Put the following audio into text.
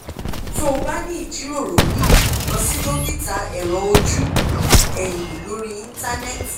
tó o bá ní ìjíròrò míì lọ sí dókítà ẹ̀rọ ojú ẹ̀yin lórí íńtánẹ́ẹ̀tì